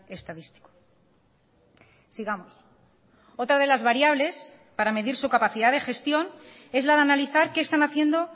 estadístico sigamos otra de las variables para medir su capacidad de gestión es la de analizar qué están haciendo